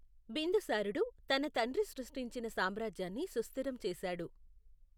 బిందుసారుడు తన తండ్రి సృష్టించిన సామ్రాజ్యాన్ని సుస్థిరం చేశాడు.